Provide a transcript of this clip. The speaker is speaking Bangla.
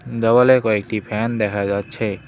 দেওয়ালে কয়েকটি ফ্যান দেখা যাচ্ছে।